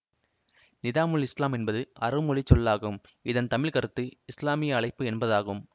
நிதாம்உல் இஸ்லாம் என்பது அரபு மொழி சொல்லாகும் இதன் தமிழ்க்கருத்து இசுலாமிய அழைப்பு என்பதாகும்